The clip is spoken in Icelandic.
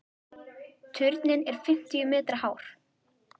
Turninn er fimmtíu metra hár.